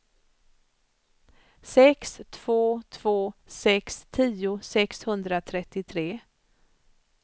sex två två sex tio sexhundratrettiotre